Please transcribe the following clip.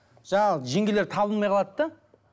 жаңағы жеңгелер табылмай қалады да